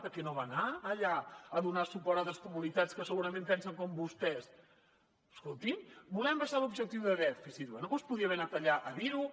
per què no va anar allà a donar suport a altres comunitats que segurament pensen com vostès escolti’m volem abaixar l’objectiu de dèficit bé doncs podria haver anat allà a dir ho